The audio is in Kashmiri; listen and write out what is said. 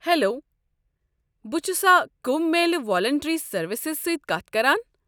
ہیلو، بہٕ چھُسا کُمبھ میلہ والینٹری سٔروسزس سٕتۍ كتھ كران؟